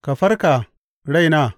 Ka farka, raina!